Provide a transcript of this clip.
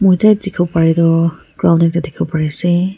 photo tae dikhiwo parae tu ground ekta dikhiwo parease.